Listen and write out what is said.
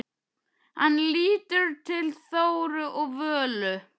Hann lítur til Þóru og Völu.